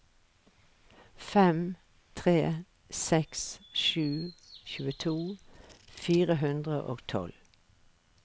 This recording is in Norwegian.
fem tre seks sju tjueto fire hundre og tolv